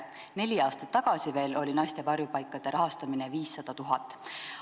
Veel neli aastat tagasi oli naiste varjupaikade rahastamine 500 000 eurot.